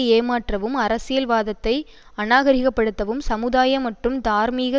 ஏமாற்றவும் அரசியல்வாதத்தை அநாகரீகப்படுத்தவும் சமுதாய மற்றும் தார்மீக